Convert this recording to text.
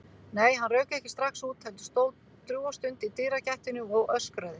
Nei, hann rauk ekki strax út, heldur stóð drjúga stund í dyragættinni og öskraði.